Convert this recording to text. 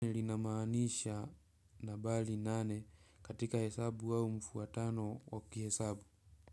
Linamanisha nabali nane katika hesabu wawu mfuatano waki hesabu.